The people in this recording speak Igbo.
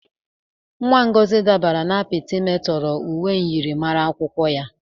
Ada Ngozi dabara n'ime apita metọrọ uwe myịrịmara akwụkwọ ya.